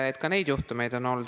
Ka neid juhtumeid on olnud.